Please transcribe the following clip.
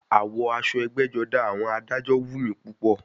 Àwọ̀ aṣọ ẹgbẹ́-jọdá àwọn adájọ́ wù mí púpọ̀.